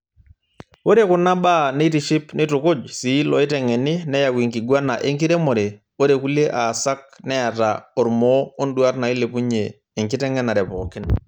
Ore kunabaa neitiship neitukuj sii loitengeni neyau enkiguana enkiremore, ore kulie aasak neata ormoo onduat nailepunyie enkiteng'enare pookin.